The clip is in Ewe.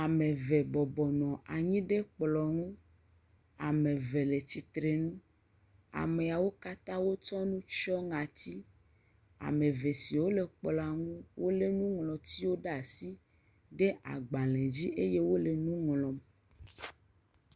Ame eve bɔbɔ nɔ anyi ɖe kplɔ nu, ame eve le tsitre ŋu. amewo kata wo tsɔ nu tsɔe ŋɔti, ame eve siwo le kplɔ ŋu, wole nuŋlɔtiwo ɖe asi ɖe agbalẽ dzi eye wole nu ŋlɔ